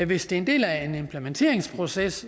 hvis det er en del af en implementeringsproces